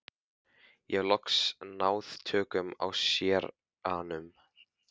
Ég hef loks náð tökum á séranum.